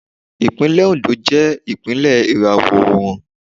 Ìpínlẹ̀ Oǹdó jẹ́ ìpínlẹ̀ ìràwọ̀ oòrùn.